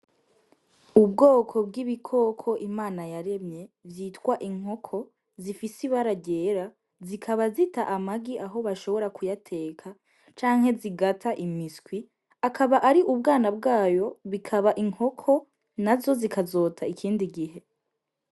Ubwoko bw'ibikoko Imana yaremye vyitwa inkoko zifise ibara ryera zikaba zita amagi aho bashobora kuyateka canke zigata imiswi, akaba ari ubwana bwayo bikaba inkoko nazo zikazota ikindi gihe.